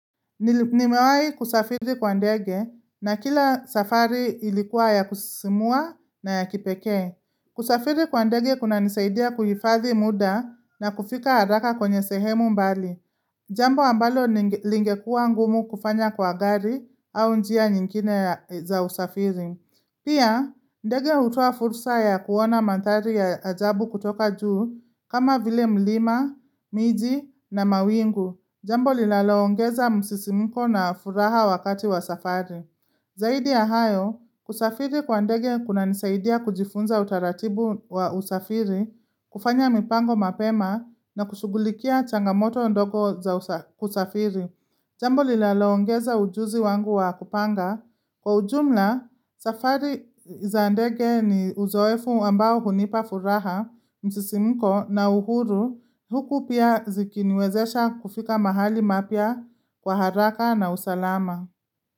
Nimewahi kusafiri kwa ndege na kila safari ilikuwa ya kusisimua na ya kipekee kusafiri kwa ndege kunanisaidia kuhifadhi muda na kufika haraka kwenye sehemu mbali Jambo ambalo lingekuwa ngumu kufanya kwa gari au njia nyingine za usafiri Pia ndege hutoa fursa ya kuona mandhari ya ajabu kutoka juu kama vile mlima, miji na mawingu jambo linaloongeza msisimko na furaha wakati wa safari Zaidi ya hayo, kusafiri kwa ndege kunanisaidia kujifunza utaratibu wa usafiri kufanya mipango mapema na kushughulikia changamoto ndogo za kusafiri Jambo linaloongeza ujuzi wangu wa kupanga. Kwa ujumla, safari za ndege ni uzoefu ambao hunipa furaha msisimko na uhuru Huku pia zikiniwezesha kufika mahali mapya kwa haraka na usalama.